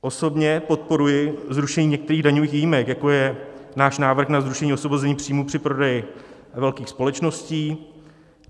Osobně podporuji zrušení některých daňových výjimek, jako je náš návrh na zrušení osvobození příjmu při prodeji velkých společností.